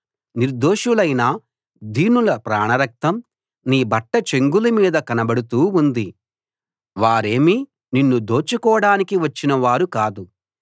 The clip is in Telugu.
నిర్దోషులైన దీనుల ప్రాణరక్తం నీ బట్ట చెంగుల మీద కనబడుతూ ఉంది వారేమీ నిన్ను దోచుకోడానికి వచ్చినవారు కాదు